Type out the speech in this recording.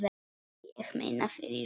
Ég meina, fyrir þig.